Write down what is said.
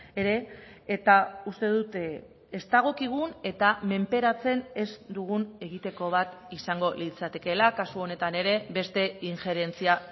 ere eta uste dut ez dagokigun eta menperatzen ez dugun egiteko bat izango litzatekela kasu honetan ere beste injerentzia